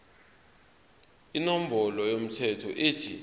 inombolo yomthelo ethi